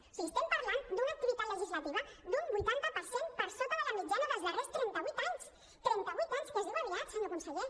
o sigui estem parlant d’una activitat legislativa d’un vuitanta per cent per sota de la mitjana dels darrers trenta vuit anys trenta vuit anys que es diu aviat senyor conseller